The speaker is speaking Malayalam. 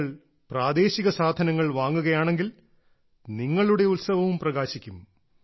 നിങ്ങൾ പ്രാദേശിക സാധനങ്ങൾ വാങ്ങുകയാണെങ്കിൽ നിങ്ങളുടെ ഉത്സവവും പ്രകാശിക്കും